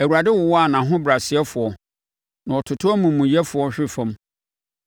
Awurade wowa ahobrɛasefoɔ na ɔtoto amumuyɛfoɔ hwe fam.